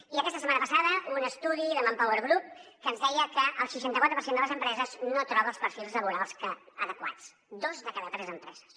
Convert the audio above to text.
i aquesta setmana passada un estudi de manpowergroup que ens deia que el seixanta·quatre per cent de les empreses no troba els perfils laborals adequats dos de cada tres empreses